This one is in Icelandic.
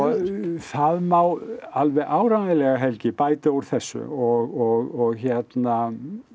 það má alveg áreiðanlega Helgi bæta úr þessu og hérna